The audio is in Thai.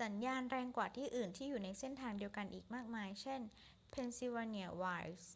สัญญาณแรงกว่าที่อื่นที่อยู่ในเส้นทางเดียวกันอีกมากมาย เช่น pennsylvania wilds